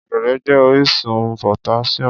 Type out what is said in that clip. Ọ̀gẹ̀dẹ̀ jẹ́ orísun potassium.